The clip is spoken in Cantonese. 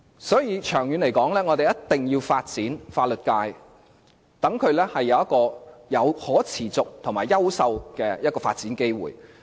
所以，長遠而言，我們一定要發展法律界，讓法律界能夠有可持續及優秀的發展機會。